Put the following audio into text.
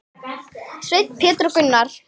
Sveinn, Pétur og Gunnar.